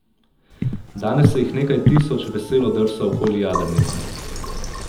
Danes se jih nekaj tisoč veselo drsa okoli jadrnice.